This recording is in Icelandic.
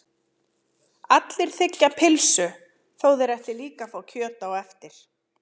Allir þiggja pylsu þó að þeir ætli líka að fá kjöt á eftir.